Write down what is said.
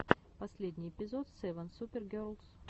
последний эпизод севен супер герлс